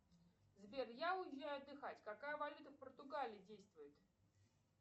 сбер я уезжаю отдыхать какая валюта в португалии действует